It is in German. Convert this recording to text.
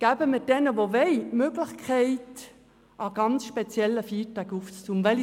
Geben wir denen, die es wollen, die Möglichkeit, an ganz speziellen Feiertagen aufzumachen.